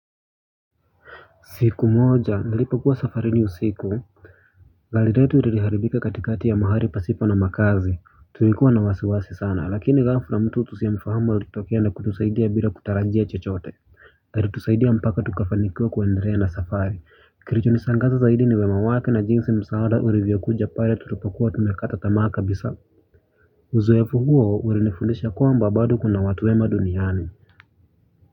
Siku moja, nalipo kuwa safarini usiku. Gari letu liliharibika katikati ya mahali pasipo na makazi. Tulikuwa na wasiwasi sana, lakini ghafla na mtu tusiomfahamu alitokea na kutusaidia bila kutarajia chochote. Alitusaidia mpaka tukafanikiwa kwendelea na safari. Kilicho nishangaza zaidi ni wema wake na jinsi msaada ulivyokuja pale tulipokuwa tumekata tamaa kabisa. Uzoefu huo ulinifundisha kwamba bado kuna watu wema duniani.